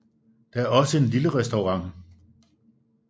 Der er også en lille restaurant